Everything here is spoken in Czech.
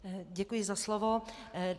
Děkuji za slovo.